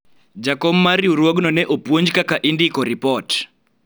jakom mar rirwuogno ne opuonj kaka indiko ripot